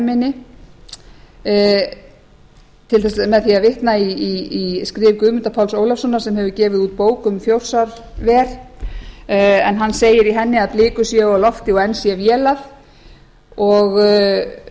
minni með því að vitna í skrif guðmundar páls ólafssonar sem hefur gefið út bók um þjórsárver en hann segir í henni að blikur séu á lofti og enn sé vélað og